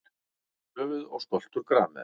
Höfuð og skoltur grameðlu.